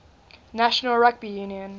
national rugby union